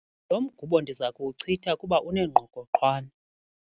Lo mgubo ndiza kuwuchitha kuba unengqokoqwane.